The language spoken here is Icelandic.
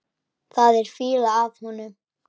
Það er fýla af honum.